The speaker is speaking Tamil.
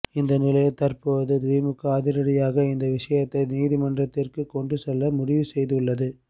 இந்த நிலையில் தற்போது திமுக அதிரடியாக இந்த விஷயத்தை நீதிமன்றத்திற்கு கொண்டு செல்ல முடிவு செய்து உள்ளது